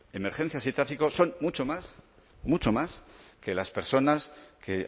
emergencias y tráfico son mucho más mucho más que las personas que